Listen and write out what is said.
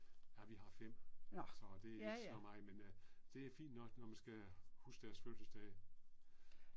Ah vi har 5. Så det er ikke så meget men øh det er fint nok når man skal huske deres fødselsdage